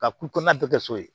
Ka kulonan tɛ kɛ so ye